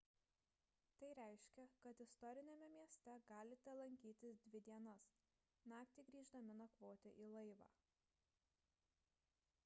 tai reiškia kad istoriniame mieste galite lankytis dvi dienas naktį grįždami nakvoti į laivą